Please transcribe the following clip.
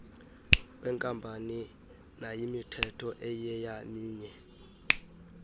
weenkampani nayimithetho eyiyeminye